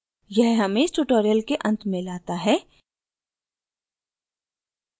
यह हमें इस tutorial के अंत में लाता है